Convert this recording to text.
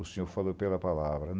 O senhor falou pela palavra.